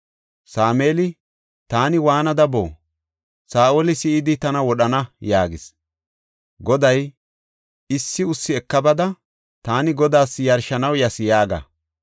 Sameeli, “Taani waanada boo? Saa7oli si7idi tana wodhana” yaagis. Goday, “Issi ussi eka bada, ‘Taani Godaas yarshanaw yas’ yaaga.